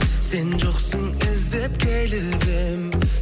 сен жоқсың іздеп келіп едім